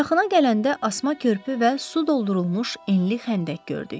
Yaxına gələndə asma körpü və su doldurulmuş enli xəndək gördük.